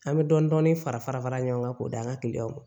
An bɛ dɔɔnin-dɔɔnin fara fara fara ɲɔgɔn kan k'o d'an ka ma